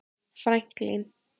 Franklín